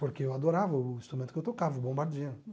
Porque eu adorava o instrumento que eu tocava, o bombardino.